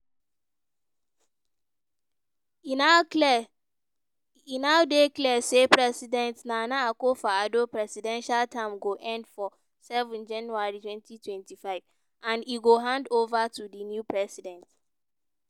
e now dey clear say president nana akufo addo presidential term go end for 7 january 2025 and e go hand-ova to di new president.